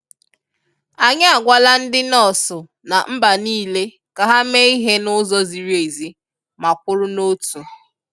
Anyị a gwala ndị nọọsụ na mba niile ka ha mee ihe n'ụzọ ziri ezi ma kwụrụ n'otu